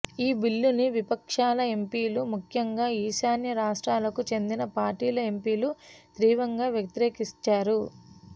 ఈ బిల్లుని విపక్షాల ఎంపీలు ముఖ్యంగా ఈశాన్య రాష్ట్రాలకు చెందిన పార్టీల ఎంపీలు తీవ్రంగా వ్యతిరేకించారు